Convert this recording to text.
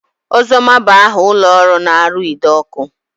Ozoma bụ aha ụlọọrụ na-arụ ide ọkụ